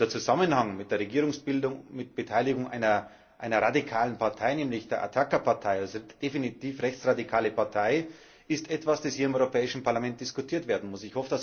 Der Zusammenhang mit der Regierungsbildung mit Beteiligung einer radikalen Partei, nämlich der Ataka Partei, eine definitiv rechtsradikale Partei, ist etwas, das hier im Europäischen Parlament diskutiert werden muss.